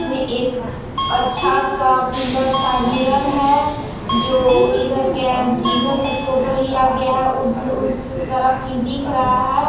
मैं एक अच्छा सा सुंदर सा हिरण है जो इधर के जिधर सब फोटो लिया गया है उधर उस तरफ ही दिख रहा है।